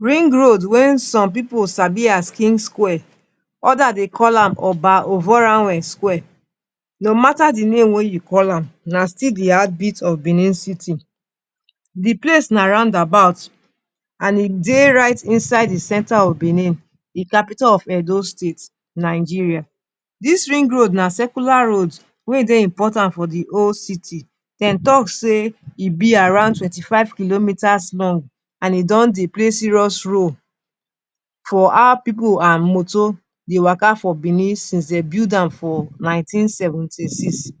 Ring road wey some pipu sabi as Kings Square, others dey call am Oba Ovonramwen Square. No matter the name wey you call am, na still the heartbeat of Benin City. The place na roundabout and e dey inside the center of Benin City, the capital of Edo State Nigeria. Dis Ring Road na circular road wey dey important for the whole city. Dem talk say e be around twenty-five kilometers long and e don dey play serious role for how pipu and moto dey waka for Benin since dem build am for nineteen seventy-six.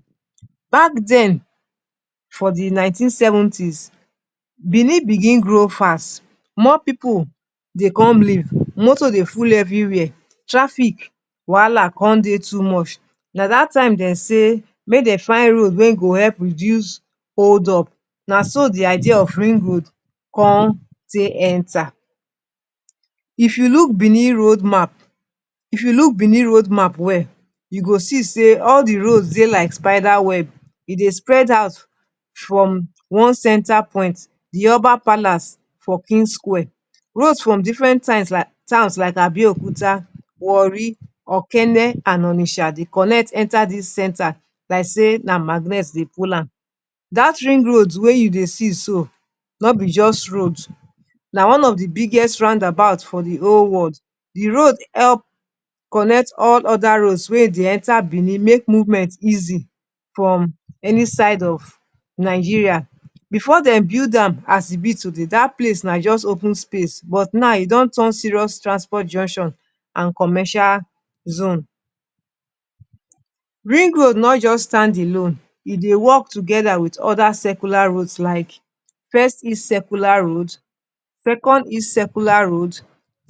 Back then for the 1970s, Benin begin grow fast. More pipu dey come live. Moto dey full everywhere. Traffic wahala con dey too much. Na dat time dem say make dem try road wey go help reduce hold-up. Na so the idea of Ring Road con take enter. If you look Benin road map well, you go see say all the roads dey like spider web. E dey spread out from one center point — the Oba Palace for Kings Square. Roads from different place like Abeokuta, Warri, Okene and Onitsha dey connect enter dis center like say na magnet dey pull am. Dat Ring Road wey you dey see so, no be just road. Na one of the biggest roundabouts for the whole world. The road help connect all other roads wey dey enter Benin. E make movement easy from any side of Nigeria. Before dem build am as e be today, dat place na just open space. But now e don turn serious transport junction and commercial zone. Ring Road no just stand alone. E dey work together with other circular roads like First East Circular Road, Second East Circular Road,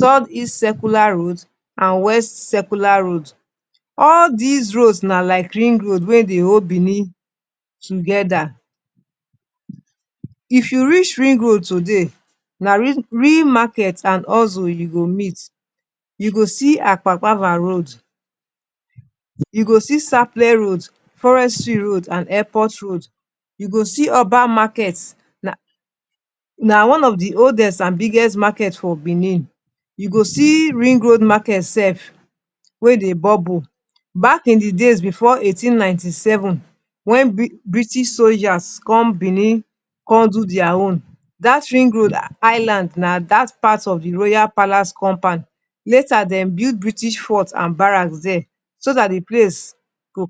Third East Circular Road and West Circular Road. All these roads na like Ring Road wey dey hold Benin together. If you reach Ring Road today, na real market and hustle you go meet. You go see Akpakpava Road, you go see Sapele Road, Forestry Road and Airport Road. You go see Oba Market — na one of the oldest and biggest markets for Benin. You go see Ring Road Market sef wey dey bubble. Back in the days before 1897, when British soldiers come Benin con do their own, dat Ring Road Island na part of the Royal Palace compound. Later, dem build British fort and barrack there, so the place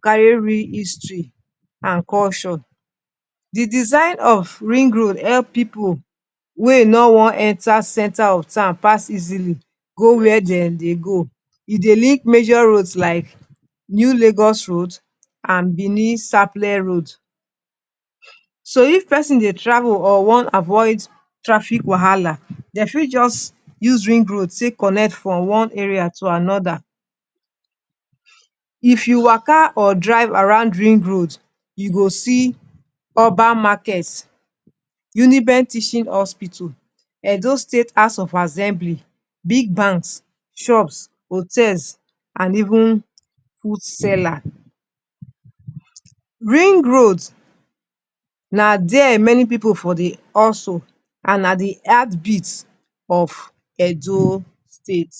carry real history and culture. The design of Ring Road help pipu wey no want enter center of town pass easily go where dem dey go. E dey link major roads like New Lagos Road and Benin-Sapele Road. So, if pesin dey travel or wan avoid traffic wahala, dem fit just use Ring Road take connect from one area to another. If you waka or drive around Ring Road, you go see Oba Market, UNIBEN Teaching Hospital, Edo State House of Assembly, big banks, shops, hotels and even food sellers. Ring Road na where many pipu dey hustle and na the heartbeat of Edo State.